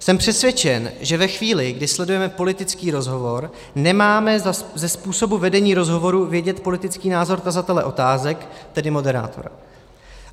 Jsem přesvědčen, že ve chvíli, kdy sledujeme politický rozhovor, nemáme ze způsobu vedení rozhovorů vědět politický názor tazatele otázek, tedy moderátora.